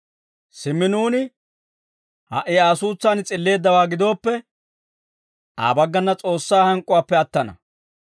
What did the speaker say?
Simmi nuuni ha"i Aa suutsaan s'illeeddawaa gidooppe, Aa baggana S'oossaa hank'k'uwaappe attana.